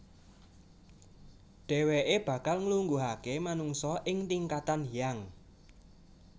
Dhèwèké bakal nglungguhaké manungsa ing tingkatan Hyang